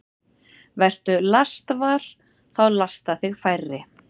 Vertu lastvar – þá lasta þig færri.